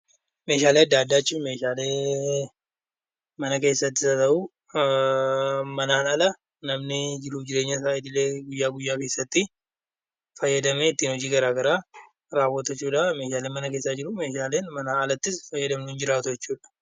Meeshaalee adda addaa jechuun meeshaalee mana keessattis haa ta'u, manaan ala namni jiruuf jireenya isaatii illee guyyaa guyyaa keessatti fayyadamee ittiin hojii gara garaa raawwatu jechuudha. Meeshaalee mana keessa ni jiru, meeshaaleen manaa alattis fayyadamnu ni jiraatu jechuudha.